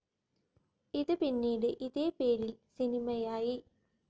ഇത് പിന്നീട് ഇതേ പേരിൽ സിനിമയായി.